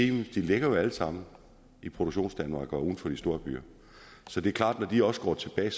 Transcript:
de ligger jo alle sammen i produktionsdanmark og uden for de store byer så det er klart at når de også går tilbage